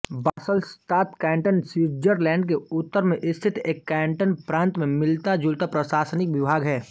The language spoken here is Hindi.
बासलश्तात कैन्टन स्विट्ज़रलैंड के उत्तर में स्थित एक कैन्टन प्रान्त से मिलताजुलता प्रशासनिक विभाग है